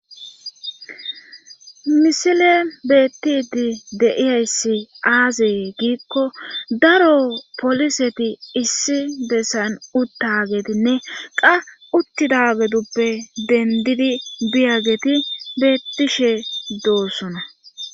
Misile beettidi deiyayssi aazee giikko daro poliseti issi bessayn uttagetinne qa uttidageduppe dendidi biyageti beettishe doosona